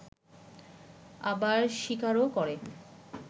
আবার স্বীকারও করে